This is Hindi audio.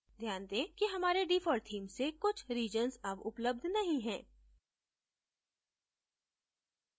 ध्यान दें कि हमारे default theme से कुछ regions अब उपलब्ध नहीं है